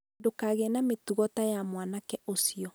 ndũkagĩe na mĩtugo ta ya mwanake ũcio